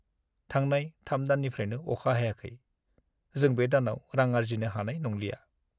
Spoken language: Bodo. थांनाय 3 दाननिफ्रायनो अखा हायाखै। जों बे दानाव रां आर्जिनो हानाय नंलिया।